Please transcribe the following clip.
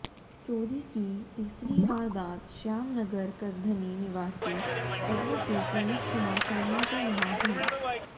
चोरी की तीसरी वारदात श्याम नगर करधनी निवासी एडवोकेट ललित कुमार शर्मा के यहां हुई